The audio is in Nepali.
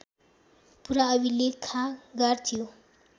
पुरा अभिलेखागार थियो